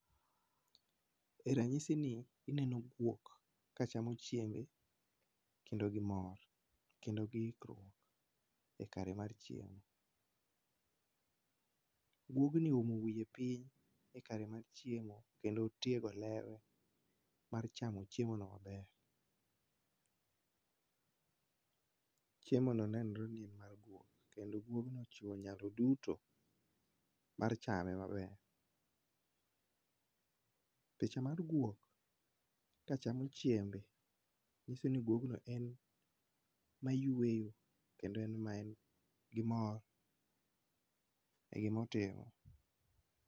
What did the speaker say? Eranyisini ineno guok kachamo chiembe kendo gi mor kendo gi ikruok e kare mar chiemo. Guogni oumo wiye piny ekare mar chiemo kendo otiego lewe mar chamo chiemono maber. Chiemono nenre ni en mar guok kendo guogno ochiwo nyalo duto mar chame maber. Picha mar guok kachamo chiembe nyiso ni guogno en mayueyo kendo en maen gi mor e gima otimo.